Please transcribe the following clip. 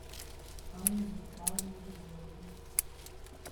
анну вячеславовну егорову